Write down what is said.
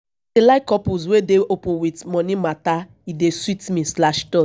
i like couple wey dey open wit moni mata e dey sweet me slash dot